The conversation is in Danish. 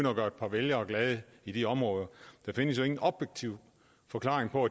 at gøre et par vælgere glade i de områder der findes jo ingen objektiv forklaring på